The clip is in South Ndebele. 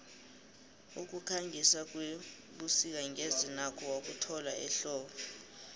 ukukhangisa kwebusik ngeze nakho wakuthola ehlobo